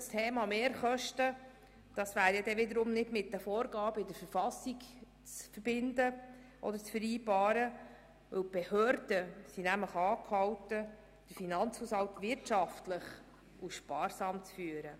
Doch gerade das Thema Mehrkosten wäre wiederum nicht mit den Vorgaben der Verfassung zu vereinbaren, denn die Behörden sind nämlich angehalten, den Finanzhaushalt wirtschaftlich und sparsam zu führen.